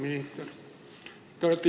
Aitäh!